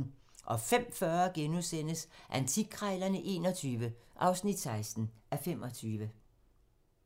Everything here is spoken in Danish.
05:40: Antikkrejlerne XXI (16:25)*